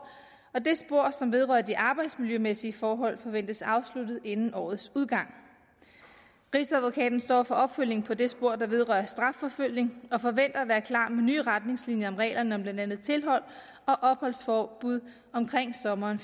og det spor som vedrører de arbejdsmiljømæssige forhold forventes afsluttet inden årets udgang rigsadvokaten står for opfølgning på det spor der vedrører strafforfølgning og forventer at være klar med nye retningslinjer om reglerne om blandt andet tilhold og opholdsforbud omkring sommeren